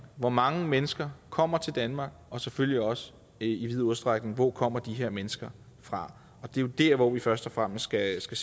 hvor mange mennesker kommer til danmark og selvfølgelig også i vid udstrækning hvor kommer de her mennesker fra og det er jo dér vi først og fremmest skal sætte